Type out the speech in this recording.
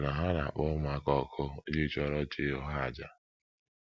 Ọbụna ha na - akpọ ụmụaka ọkụ iji chụọrọ chi ụgha àjà!